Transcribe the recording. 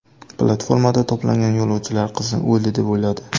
Platformada to‘plangan yo‘lovchilar qizni o‘ldi deb o‘yladi.